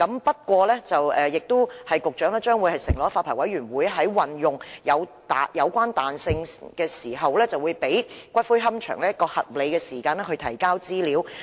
不過，局長承諾，發牌委員會在運用有關彈性時，會給予龕場合理的時間提供資料。